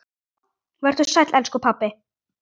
Vertu sæll, elsku pabbi.